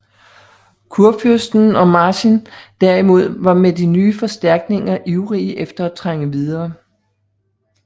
Kurfyrsten og Marsin derimod var med de nye forstærkninger ivrige efter at trænge videre